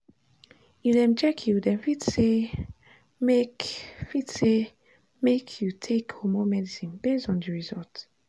if dem check you dem fit say make fit say make you take hormone medicine based on the result.